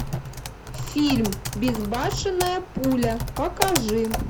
фильм безбашенная пуля покажи